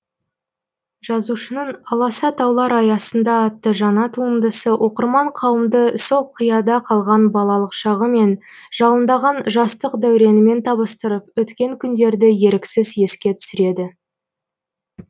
жазушының аласа таулар аясында атты жаңа туындысы оқырман қауымды сол қияда қалған балалық шағы мен жалындаған жастық дәуренімен табыстырып өткен күндерді еріксіз еске түсіреді